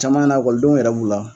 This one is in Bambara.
Caman na yɛrɛ b'u la.